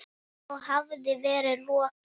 Þá hafi verið lokað.